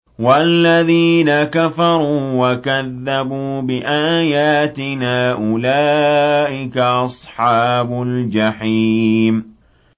وَالَّذِينَ كَفَرُوا وَكَذَّبُوا بِآيَاتِنَا أُولَٰئِكَ أَصْحَابُ الْجَحِيمِ